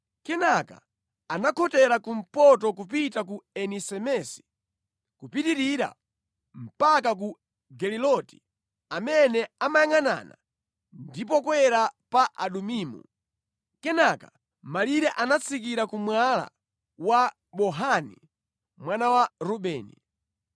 Kenaka anakhotera kumpoto kupita ku Eni-Semesi, kupitirira mpaka ku Geliloti amene amayangʼanana ndi pokwera pa Adumimu. Kenaka malire anatsikira ku Mwala wa Bohani, mwana wa Rubeni.